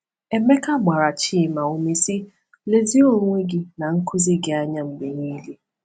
Emeka gbara Chima ume, sị: “Lezie onwe gị na nkụzi gị anya mgbe niile.